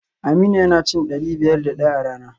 Aminu yana cin dari biyar da daya a rana